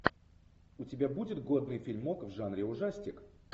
у тебя будет годный фильмок в жанре ужастик